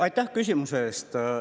Aitäh küsimuse eest!